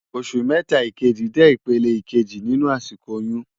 Óṣù mètá ikéjí jè ipélé ikéjí ninú àsikó óyùn